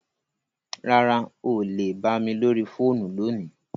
Rárá, o lè bà mi lórí fóònù lóní.